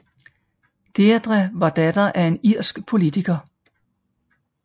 Deirdre var datter af en irsk politiker